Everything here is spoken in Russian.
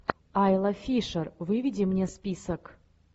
айла фишер выведи мне список